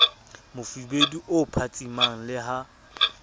mofubedu o phatsimang le ha